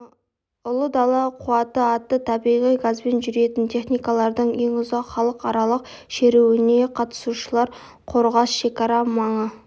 ұлы дала қуаты атты табиғи газбен жүретін техникалардың ең ұзақ халықаралық шеруіне қатысушылар қорғас шекара маңы